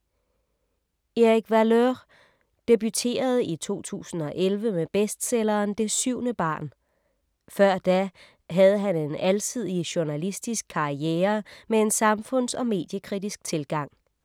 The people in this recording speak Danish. Erik Valeur debuterede i 2011 med bestselleren Det syvende barn. Før da havde han en alsidig journalistisk karriere med en samfunds- og mediekritisk tilgang.